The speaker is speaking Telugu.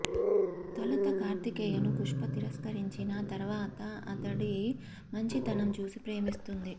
తొలుత కార్తికేయను పుష్క తిరస్కరించినా తర్వాత అతడి మంచి తనం చూసి ప్రేమిస్తుంది